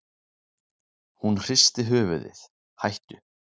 Hún hristi höfuðið: hættu.